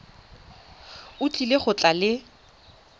o tlile go tla le